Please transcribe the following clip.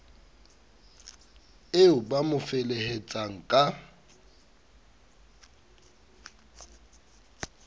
eo ba mo feheletsang ka